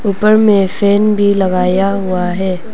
ऊपर में फैन भी लगाया हुआ है।